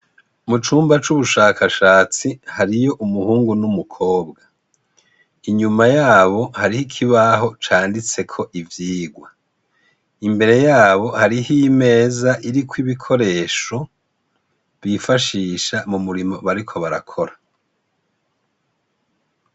Mu cumba c'ubushakashatsi, hariyo umuhungu n'umukobwa. Inyuma yabo hariho ikibaho canditseko ivyigwa. Imbere yabo hariho imeza iriko ikikoresho, bifashisha mu murimo bariko barakora.